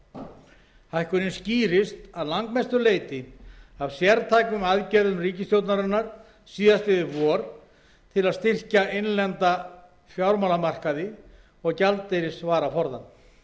átta hækkunin skýrist að langmestu leyti af sértækum aðgerðum ríkisstjórnarinnar síðastliðið vor til að styrkja innlenda fjármálamarkaði og gjaldeyrisvaraforðann